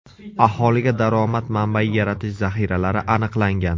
Aholiga daromad manbayi yaratish zaxiralari aniqlangan.